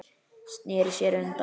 Sneri sér undan.